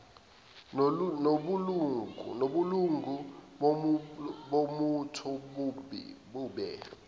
nobulungu bombutho bube